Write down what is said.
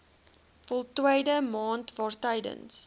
voltooide maand waartydens